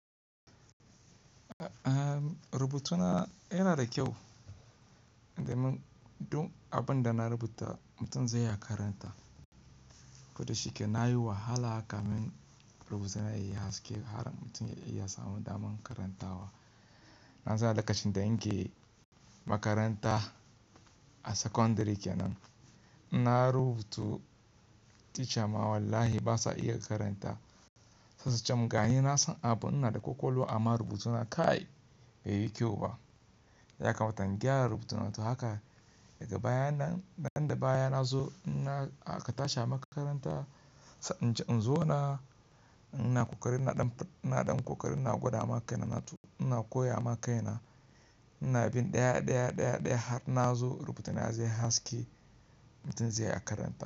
Rubutuna yana da kyau. Indai mun, dun abun da na rubuta mutum zai iya karanta. Koda shi ke na yi wahala haka mun rubuna yi haske har mutum ya iya samun damar karantawa. Nan suna lokacin da in ke makaranta a sakandare kenan, na rubutu teacher ma wallahi basa iya karanta. Se su cemun gani na san abu, ina da kwakwalwa amma rubutuna kai bai yi kyau ba. Yaka mata in gyara rubutuna to haka daga baya nan, danda baya na zo in na a katasha makaranta, sa'an ce in zo na, ina ƙoƙarin na ɗan fi, ina ɗan ƙoƙarin na gwada ma kaina na tu, ina koya ma kaina, ina bin ɗaya ɗaya, ɗaya ɗaya har na zo rubutuna zai haske mutum zai iya karanta.